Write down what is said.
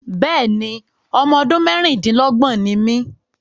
Bẹ́ẹ̀ni, ọmọ ọdún mẹ́ẹ́rin-din-lọ́gbọ́n ni mí